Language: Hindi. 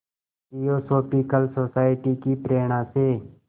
थियोसॉफ़िकल सोसाइटी की प्रेरणा से